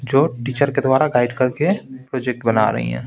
जो टीचर के द्वारा गाइड करके प्रोजेक्ट बना रही है।